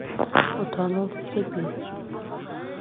утону в тебе